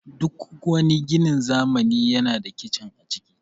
Duk wani ginin zamani yana da kicin a ciki